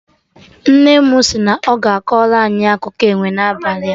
Nne mụ si na ọ ga-akọrọ anyị akụkọ enwe na abalị